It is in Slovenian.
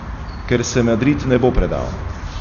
Ker se Madrid ne bo predal.